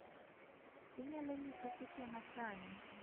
Inyalo nyisa seche ma sani